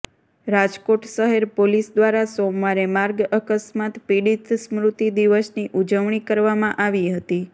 રાજકોટ શહેર પોલીસ દ્વારા સોમવારે માર્ગ અકસ્માત પીડિત સ્મૃતિ દિવસની ઉજવણી કરવામાં આવી હતી